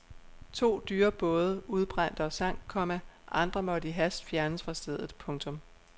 To dyre både udbrændte og sank, komma andre måtte i hast fjernes fra stedet. punktum